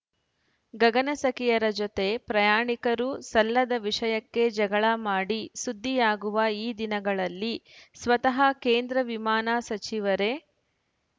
ಗಗನಸಖಿಯರ ಜೊತೆ ಪ್ರಯಾಣಿಕರು ಸಲ್ಲದ ವಿಷಯಕ್ಕೆ ಜಗಳ ಮಾಡಿ ಸುದ್ದಿಯಾಗುವ ಈ ದಿನಗಳಲ್ಲಿ ಸ್ವತಃ ಕೇಂದ್ರ ವಿಮಾನ ಸಚಿವರೇ